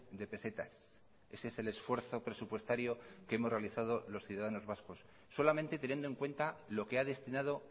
de pesetas ese es el esfuerzo presupuestario que hemos realizado los ciudadanos vascos solamente teniendo en cuenta lo que ha destinado